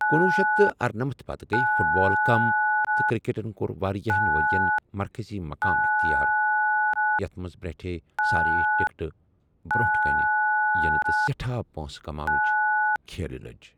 کنۄہ شیتھ تہٕ ارنمتھ پتہٕ، گٔیہٕ فُٹ بال کم تہٕ کِرکَٹن کوٚر واریاہن ؤرِین مرکٔزی مُقام اِختِیار، یَتھ منٛز برنٹھٕیہ سارییہِ ٹكٹہٕ برونٹھ كَنہٕ یِنہٕ تہٕ سیٹھاہ پٲنٛسہٕ كماونٕچہِ كھیلہٕ لٕجہِ ۔